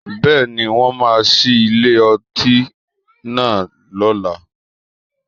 Bẹ́ẹ̀ni, wọ́n máa ṣí ilé ọtí náà lọ́la